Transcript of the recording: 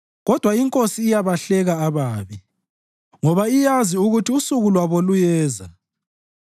kodwa iNkosi iyabahleka ababi, ngoba iyazi ukuthi usuku lwabo luyeza.